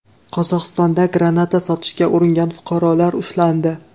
Qozog‘istonda granata sotishga uringan fuqarolar ushlandi.